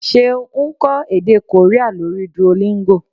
Seun ń kọ́ èdè Korea lórí Duolingo